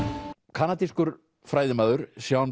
kanadískur færðimaður Jean Pierre